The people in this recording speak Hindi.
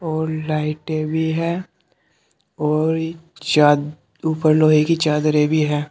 और लाइटें भी हैं और चा ऊपर लोहे की चादरे भी है।